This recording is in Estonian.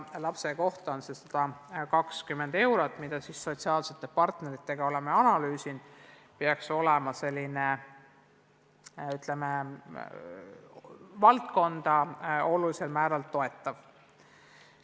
Ühe lapse kohta on ette nähtud 120 eurot, mis – oleme sotsiaalsete partneritega seda analüüsinud – peaks olema selline, ütleme, valdkonda olulisel määral toetav.